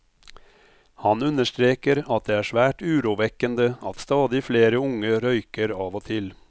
Han understreker at det er svært urovekkende at stadig flere unge røyker av og til.